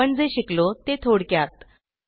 आपण जे शिकलो ते थोडक्यात